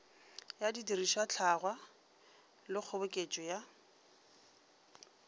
ya didirišwahlangwa le kgoboketšo ya